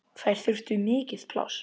Þær þurftu mikið pláss.